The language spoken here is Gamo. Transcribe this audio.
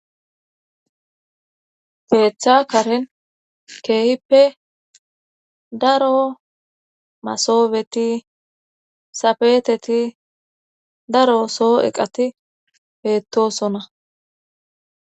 Keeththa karen keehippe daro masobeti safeeteti daro soo eqati bettosona